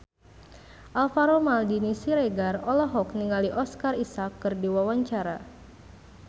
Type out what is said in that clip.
Alvaro Maldini Siregar olohok ningali Oscar Isaac keur diwawancara